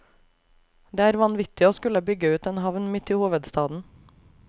Det er vanvittig å skulle bygge ut en havn midt i hovedstaden.